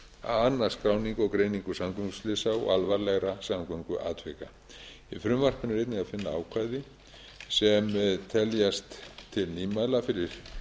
að annast skráningu og greiningu samgönguslysa og alvarlegra samgönguatvika í frumvarpinu er einnig að finna ákvæði sem teljast til nýmæla fyrir